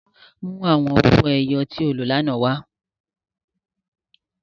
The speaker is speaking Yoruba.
Mu awọn owo-ẹyẹ ti o lo lánà wa!